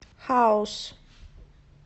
хаус